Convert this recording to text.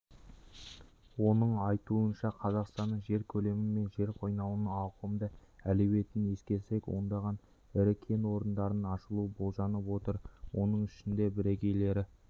оның айтуынша қазақстанның жер көлемі мен жер қойнауының ауқымды әлеуетін ескерсек ондаған ірі кен орындарының ашылуы болжанып отыр оның ішінде бірегейлері